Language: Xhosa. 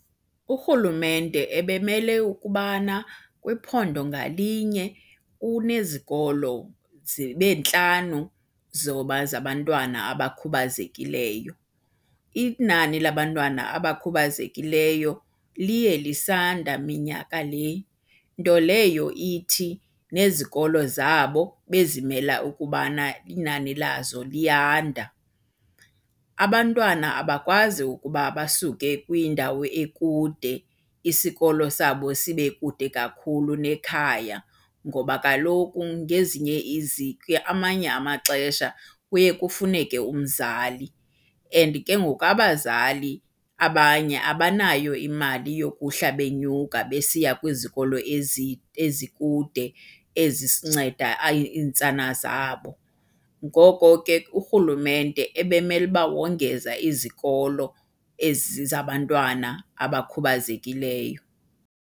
Urhulumente ebemele ukubana kwiphondo ngalinye unezikolo zibe ntlanu zabantwana abakhubazekileyo. Inani labantwana abakhubazekileyo liye lisanda minyaka le, nto leyo ithi nezikolo zabo bezimela ukubana inani lazo liyanda. Abantwana abakwazi ukuba basuke kwindawo ekude isikolo sabo sibe kude kakhulu nekhaya ngoba kaloku ngezinye amanye amaxesha kuye kufuneke umzali, and ke ngoku abazali abanye abanayo imali yokuhla benyuka besiya kwizikolo ezikude, ezisinceda iintsana zabo. Ngoko ke, urhulumente ebemele uba wongeza izikolo ezi zabantwana abakhubazekileyo.